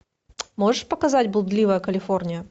можешь показать блудливая калифорния